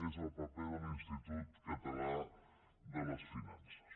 és el paper de l’institut català de finances